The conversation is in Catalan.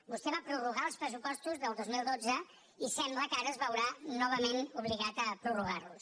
vostè va prorrogar els pressupostos del dos mil dotze i sembla que ara es veurà novament obligat a prorrogarlos